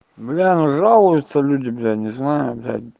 бля ну жалуются люди блять не знаю блядь